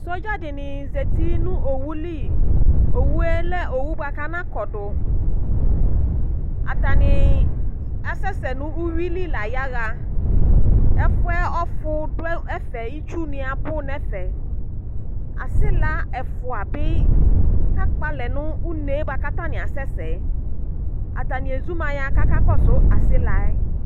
Sɔdza dini zeti nʋ owʋli owʋe lɛ owʋ bʋakʋ anakɔdʋ atani asɛsɛ nʋ ʋwili la yaxa ɛfʋɛ ɔfʋ dʋ ɛfʋɛ itsu ni abʋ nʋ ɛfɛ asila ɛfʋabi kakpɔ alɛ nʋ une bʋakʋ atani asɛsɛ atani ezumaya kʋ akakɔsʋ asila yɛ